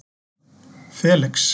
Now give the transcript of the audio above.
Felix